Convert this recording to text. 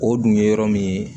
O dun ye yɔrɔ min ye